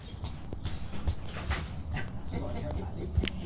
Agora já falei.